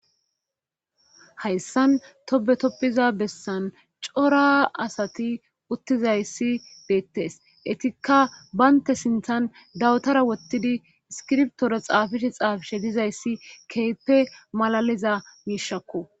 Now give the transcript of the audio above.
hayssan tobetoppiza bessan cora asati uttizayssi beettes etikka baynte sinthan dawutara wottidi iskirptora xaafishe xaafishe dizayssi keepe malaliza miishakko